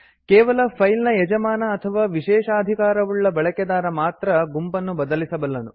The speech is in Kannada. ಕೇವಲ ಫೈಲ್ ನ ಯಜಮಾನ ಅಥವಾ ವಿಶೇಷಾಧಿಕಾರವುಳ್ಳ ಬಳಕೆದಾರ ಮಾತ್ರ ಗುಂಪನ್ನು ಬದಲಿಸಬಲ್ಲನು